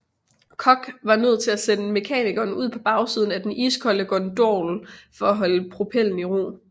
Koch var nød til at sende mekanikeren ud på bagsiden af den iskolde gondol for at holde propellen i ro